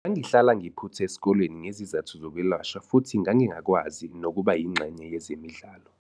Ngangihlala ngiphutha esikoleni ngezizathu zokwelashwa futhi ngangingakwazi nokuba yingxenye yezemidlalo.